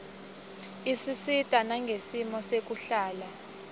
isisita nangesimo sekuhlala